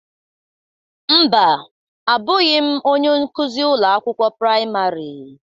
Mba, Abụghị m onye nkuzi ụlọ akwụkwọ praịmarị.